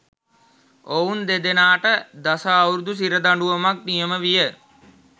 ඔවුන් දෙදෙනාට දස අවුරුදු සිර දඬුවමක්‌ නියම විය